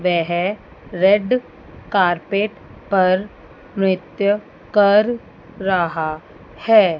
वेह red carpet पर नृत्य कर रहा है।